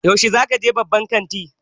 Yaushe za ka je babban kantin?